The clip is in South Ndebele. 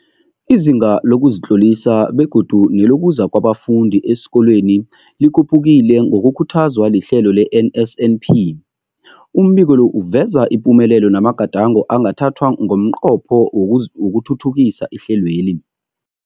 Izinga lokuzitlolisa begodu nelokuza kwabafundi esikolweni likhuphukile ngokukhuthazwa lihlelo le-NSNP. Umbiko lo uveza ipumelelo namagadango angathathwa ngomnqopho wokuthuthukisa ihlelweli.